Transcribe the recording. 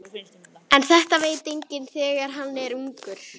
En þetta veit enginn þegar hann er ungur.